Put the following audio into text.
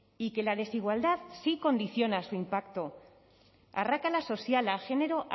y que la desigualdad sí condiciona su impacto arrakala soziala genero